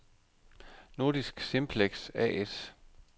Nordisk Simplex A/S